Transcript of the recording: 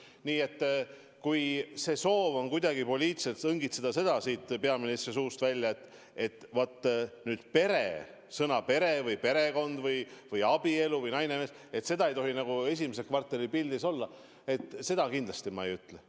Nii et kui soov on kuidagi poliitiliselt õngitseda peaministri suust välja, et vaat sõnu "pere" või "perekond" või "abielu" või "naine ja mees" ei tohi nagu esimese kvartali pildis olla, siis seda ma kindlasti ei ütle.